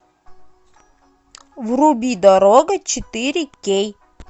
вруби дорога четыре кей